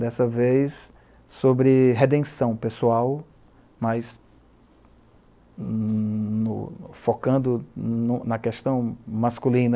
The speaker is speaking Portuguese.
Dessa vez, sobre redenção pessoal, mas focando na questão masculina